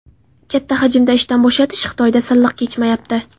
Katta hajmda ishdan bo‘shatish Xitoyda silliq kechmayapti.